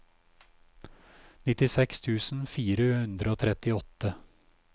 nittiseks tusen fire hundre og trettiåtte